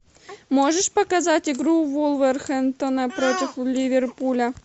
можешь показать игру вулверхэмптона против ливерпуля